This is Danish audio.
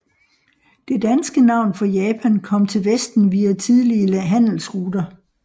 Det danske navn for Japan kom til vesten via tidlige handelsruter